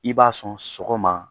I b'a sɔn sɔgɔma